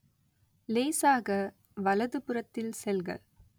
லேசாக வலதுபுறத்தில் செல்க